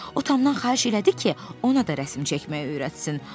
O Tomdan xahiş elədi ki, ona da rəsm çəkməyi öyrətsin.